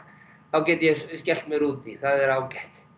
get ég skellt mér út í það er ágætt